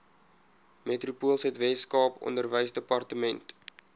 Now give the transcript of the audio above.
metropoolsuid weskaap onderwysdepartement